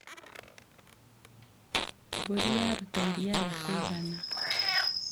Mbũri yaruta iria ria kũigana.